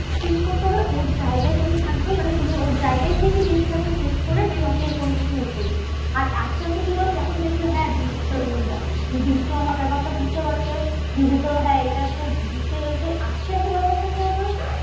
Treat করতে হবে। ওর জায়গায় তুমি থাকবে মানে তুমি ওর জায়গায় থেকে জিনিসটাকে slip করে then ওকে কোনোকিছু বলবে। আর আসতে আসতে কি বলোতো? যখন দেখবে হ্যাঁ দিদি তো আমার ব্যাপারটা বুঝতে পারছে। দিদি তো হ্যাঁ এটা তো বুঝতেই পারছি তো আসতে আসতে ব্যাপারটা কি হবে?